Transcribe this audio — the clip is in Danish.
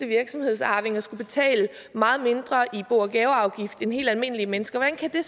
virksomhedsarvinger skal betale meget mindre i bo og gaveafgift end helt almindelige mennesker hvordan kan det